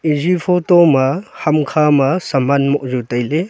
eya photo ma hamkha ma saman mohzau tai ley.